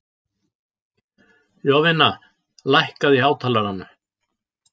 Jovina, lækkaðu í hátalaranum.